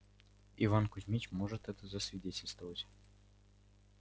иван кузмич может это засвидетельствовать